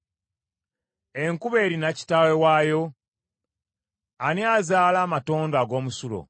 Enkuba erina kitaawe waayo? Ani azaala amatondo ag’omusulo?